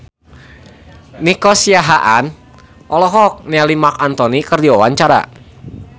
Nico Siahaan olohok ningali Marc Anthony keur diwawancara